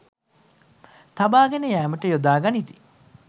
තබාගෙන යෑමට යොදා ගනිති